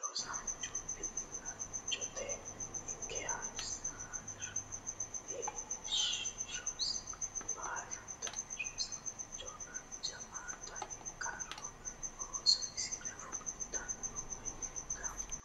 Rosiisanchu bilchatta ikke heeshshosi baallantenni rosiisanoha jawaatta ikkiro ooso isira fultano woyi gumama